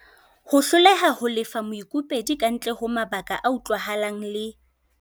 Ho hloleha ho lefa moikopedi kantle ho mabaka a utlwahalang le.